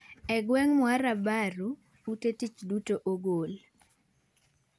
E gweng' Muara Baru, ute tich duto ogol.